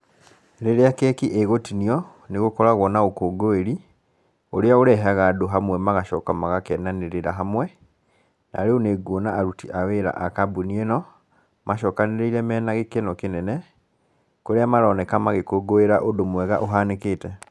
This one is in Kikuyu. Rĩrĩa keki ĩgũtinio, nĩgũkoragwo na ũkũngũĩri, ũrĩa ũrehaga andũ hamwe magacoka magakenanĩrĩra hamwe, na rĩu nĩ nguona aruti a wira a kambuni ĩno, macokanĩrĩire mena gĩkeno kĩnene, kũrĩa maroneka magĩkũngũĩra ũndũ mwega ũhanĩkĩte.